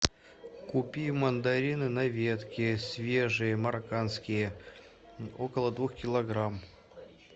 купи мандарины на ветке свежие марокканские около двух килограмм